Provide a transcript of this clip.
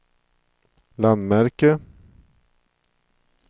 landmärke